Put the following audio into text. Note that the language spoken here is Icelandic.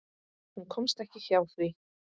Hún komst ekki hjá því.